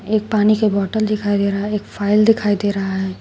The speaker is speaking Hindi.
एक पानी की बॉटल दिखाई दे रहा है एक फाइल दिखाई दे रहा है।